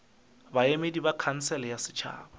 baemedi ba khansele ya setšhaba